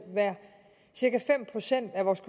cirka fem procent af vores